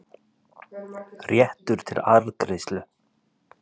réttur til arðgreiðslu.